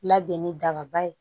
Labɛn ni dababa ye